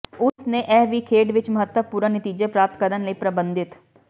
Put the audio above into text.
ਉਸ ਨੇ ਇਹ ਵੀ ਖੇਡ ਵਿੱਚ ਮਹੱਤਵਪੂਰਨ ਨਤੀਜੇ ਪ੍ਰਾਪਤ ਕਰਨ ਲਈ ਪਰਬੰਧਿਤ